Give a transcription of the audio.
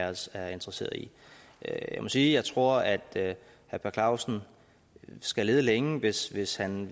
os er interesseret i jeg må sige at jeg tror at herre per clausen skal lede længe hvis hvis han